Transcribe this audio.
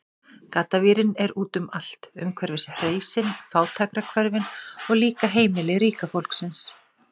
Gaddavírinn er úti um allt, umhverfis hreysin, fátækrahverfin, og líka heimili ríka fólksins.